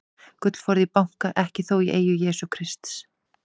Gullforði í banka, ekki þó í eigu Jesú Krists.